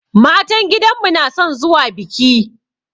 Matan gidanmu na son zuwa biki.